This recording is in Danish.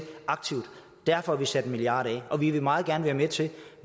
derfor har vi sat en milliard af og vi ville meget gerne være med til